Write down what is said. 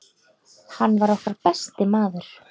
Hann var okkar besti maður.